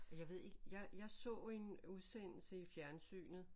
Jeg ved ikke jeg så en udsendelse i fjernsynet